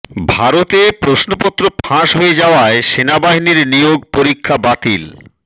ভারতে প্রশ্নপত্র ফাঁস হয়ে যাওয়ায় সেনাবাহিনীর নিয়োগ পরীক্ষা বাতিল